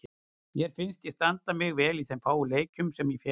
Mér fannst ég standa mig vel í þeim fáu leikjum sem ég fékk.